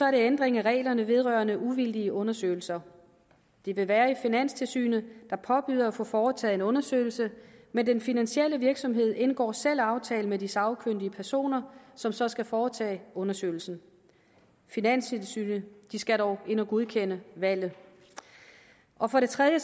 en ændring af reglerne vedrørende uvildige undersøgelser det vil være finanstilsynet der påbyder at få foretaget en undersøgelse men den finansielle virksomhed indgår selv aftale med de sagkyndige personer som så skal foretage undersøgelsen finanstilsynet skal dog ind at godkende valget og for det tredje